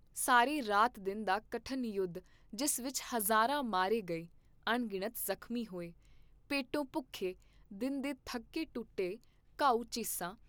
ਸਾਰੇ ਰਾਤ ਦਿਨ ਦਾ ਕਠਨ ਯੁੱਧ ਜਿਸ ਵਿਚ ਹਜ਼ਾਰਾਂ ਮਾਰੇ ਗਏ, ਅਣਗਿਣਤ ਜ਼ਖਮੀ ਹੋਏ, ਪੇਟੋਂ ਭੁੱਖੇ, ਦਿਨ ਦੇ ਥੱਕੇ ਟੁੱਟੇ, ਘਾਉ ਚੀਸਾਂ